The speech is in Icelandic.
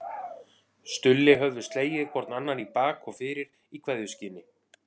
Stulli höfðu slegið hvor annan í bak og fyrir í kveðjuskyni.